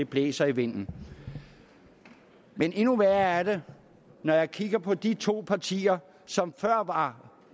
blæser i vinden men endnu værre er det når jeg kigger på de to partier som før var